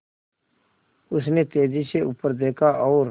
उसने तेज़ी से ऊपर देखा और